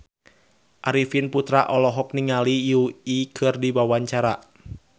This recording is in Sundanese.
Arifin Putra olohok ningali Yui keur diwawancara